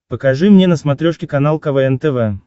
покажи мне на смотрешке канал квн тв